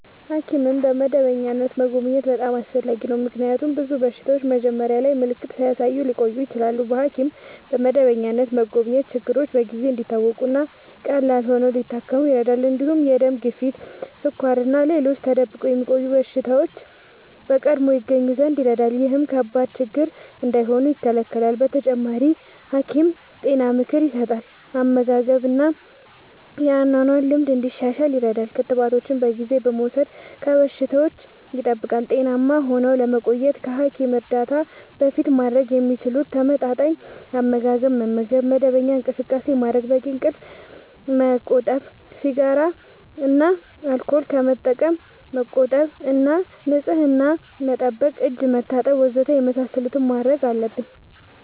ሐኪምን በመደበኛነት መጎብኘት በጣም አስፈላጊ ነው፤ ምክንያቱም ብዙ በሽታዎች መጀመሪያ ላይ ምልክት ሳያሳዩ ሊቀጥሉ ይችላሉ። በሐኪም በመደበኛነት መጎብኘት ችግሮች በጊዜ እንዲታወቁ እና ቀላል ሆነው ሊታከሙ ይረዳል። እንዲሁም የደም ግፊት፣ ስኳር እና ሌሎች ተደብቆ የሚቆዩ በሽታዎች በቀድሞ ይገኙ ዘንድ ይረዳል። ይህም ከባድ ችግር እንዳይሆኑ ይከላከላል። በተጨማሪ፣ ሐኪም ጤና ምክር ይሰጣል፣ የአመጋገብ እና የአኗኗር ልምድ እንዲሻሻል ይረዳል። ክትባቶችን በጊዜ በመውሰድ ከበሽታዎች ይጠብቃል። ጤናማ ሆነው ለመቆየት ከሐኪም እርዳታ በፊት ማድረግ የሚችሉት፦ ተመጣጣኝ አመጋገብ መመገብ፣ መደበኛ እንቅስቃሴ ማድረግ፣ በቂ እንቅልፍ ማመቆጠብ፣ ሲጋራ እና አልኮል ከመጠቀም መቆጠብ እና ንጽህና መጠበቅ (እጅ መታጠብ ወዘተ) የመሳሰሉትን ማድረግ አለብን።